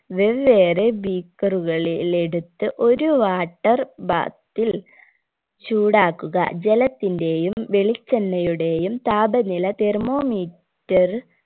വെവ്വേറെ beaker കളിൽ എടുത്ത് ഒരു water bath ൽ ചൂടാക്കുക ജലത്തിന്റെയും വെളിച്ചെണ്ണയുടെയും താപനില thermome ter